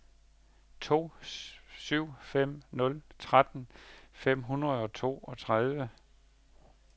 to syv fem nul tretten fem hundrede og toogtredive